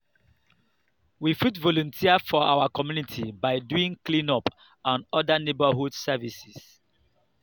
we fit volunteer for our community by doing cleanup and oda neighbourhood services